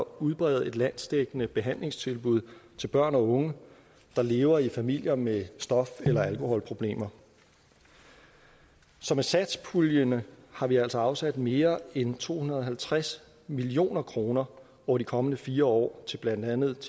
udbrede et landsdækkende behandlingstilbud til børn og unge der lever i familier med stof eller alkoholproblemer så med satspuljen har vi altså afsat mere end to hundrede og halvtreds million kroner over de kommende fire år til blandt andet